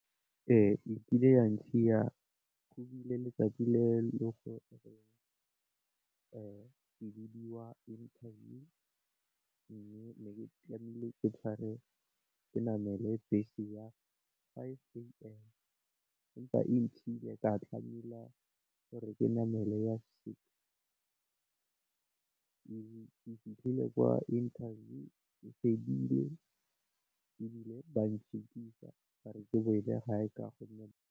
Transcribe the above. Ee e kile ya ntshiya go bile letsatsi le le gore ke bidiwa interview, mme ne ke tlamehile tshware ke namele bese ya five am. Empa e ntshile ka tlamela gore ke namele ya six, ke fitlhile kwa interview e fedile, ebile ba njikisa gore ke boele gae ka gonne.